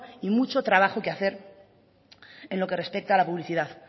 y mucho trabajo que hacer en lo que respecta a la publicidad